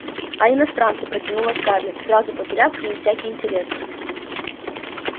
а иностранцы протянула скарлетт сразу потеряв к ним всякий интерес